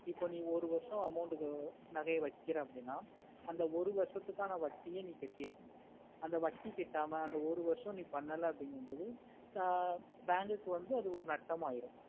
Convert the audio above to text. இப்போ நீ ஒரு வர்ஷம் amount கு மேல நகையே வேகுறேனா அப்புடின்னா அந்த ஒரு வர்ஷத்துக்கான வட்டியே நீ கட்டிற்குனோம் அந்த வட்டி கட்டமா அந்த ஒரு வர்ஷம் நீ பன்னலனுகமொடு bank கு அது ஒரு நாட்டம் ஆயிடும்